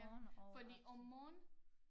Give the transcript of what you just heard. Ja fordi om morgenen